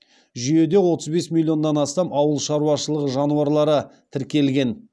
жүйеде отыз бес миллионнан астам ауыл шаруашылығы жануарлары тіркелген